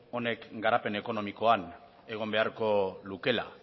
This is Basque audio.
honek garapen ekonomikoan egon beharko lukeela